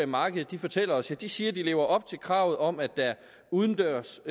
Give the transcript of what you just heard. markedet fortæller os ja de siger at de lever op til kravet om at der udendørs